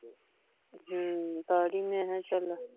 ਹੂੰ ਪਾ ਦਵੀ ਮੈਂ ਕਿਹਾ ਛੱਲਾ